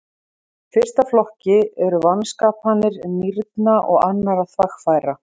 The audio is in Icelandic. Í fyrsta flokki eru vanskapanir nýrna og annarra þvagfæra.